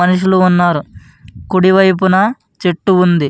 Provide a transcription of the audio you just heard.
మనుషులు ఉన్నారు. కుడివైపున చెట్టు ఉంది.